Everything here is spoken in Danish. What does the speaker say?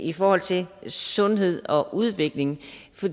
i forhold til sundhed og udvikling